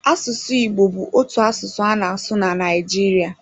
Asụsụ Igbo bụ otu asụsụ a na-asụ na Naịjiria.